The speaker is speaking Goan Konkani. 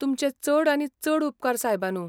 तुमचे चड आनी चड उपकार सायबानू.